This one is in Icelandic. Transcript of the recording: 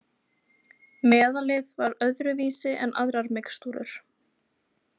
Meðalið var öðru vísi en aðrar mixtúrur.